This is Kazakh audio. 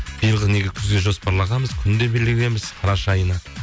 биылғы неге күзге жоспарлағанбыз күн де белгілегенбіз қараша айына